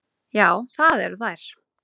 Já, það eru þær.